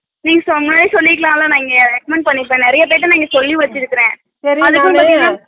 நீங்க முன்னாடியே சொல்லிருக்கலாம்ல நான் இங்க நிறைய பெற regment பண்ணிருப்பேன் நிறைய பெற நா சொல்லி வெச்சிருக்கே